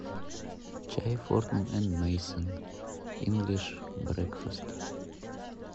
чай фортнум энд мейсон инглиш брекфаст